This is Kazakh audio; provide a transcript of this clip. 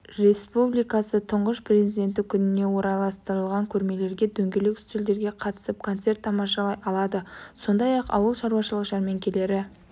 республикасы тұңғыш президенті күніне орайластырылған көрмелерге дөңгелек үстелдерге қатысып концерт тамашалай алады сондай-ақ ауылшаруашылық жәрмеңкелері